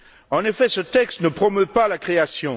En effet, ce texte ne promeut pas la création.